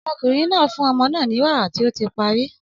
Ọmọkùnrin náà fún ọmọ náà ní wàrà tí ó ti parí.